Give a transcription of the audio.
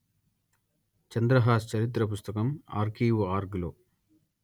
చంద్రహాస్ చరిత్ర పుస్తకం ఆర్కీవుఆర్గ్ లో